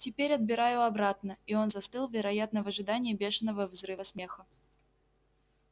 теперь отбираю обратно и он застыл вероятно в ожидании бешеного взрыва смеха